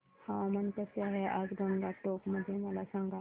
हवामान कसे आहे आज गंगटोक मध्ये मला सांगा